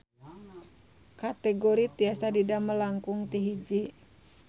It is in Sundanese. Kategori tiasa didamel langkung ti hiji.